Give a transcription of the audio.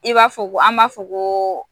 I b'a fɔ ko an b'a fɔ ko